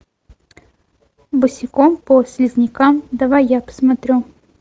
босиком по слизнякам давай я посмотрю